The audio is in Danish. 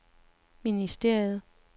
ministeriet